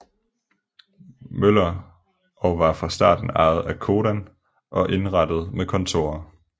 Møller og var fra starten ejet af Codan og indrettet med kontorer